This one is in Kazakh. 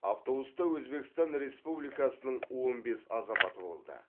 автобуста өзбекстан республикасының он бес азаматы болды